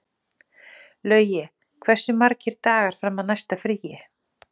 Laugi, hversu margir dagar fram að næsta fríi?